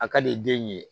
A ka di den ye